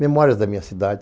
Memórias da minha cidade.